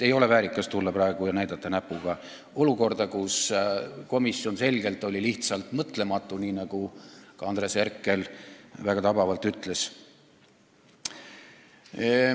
Ei ole väärikas tulla praegu ja näidata näpuga olukorrale, kus komisjon oli lihtsalt mõtlematu, nii nagu ka Andres Herkel väga tabavalt ütles.